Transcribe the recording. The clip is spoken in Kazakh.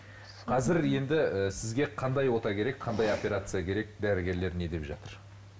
қазір енді ы сізге қандай ота керек қандай операция керек дәрігерлер не деп жатыр